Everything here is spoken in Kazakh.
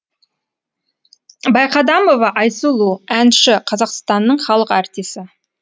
байқадамова айсұлу әнші қазақстанның халық артисі